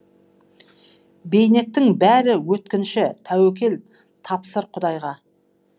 бейнеттің бәрі өткінші тәуекел тапсыр құдайға